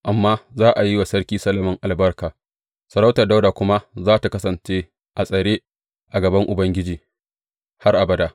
Amma za a yi wa Sarki Solomon albarka, sarautar Dawuda kuma za tă kasance a tsare a gaban Ubangiji har abada.